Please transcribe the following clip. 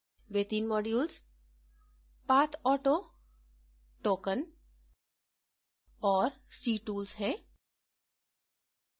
वे तीन modules pathauto token और ctools हैं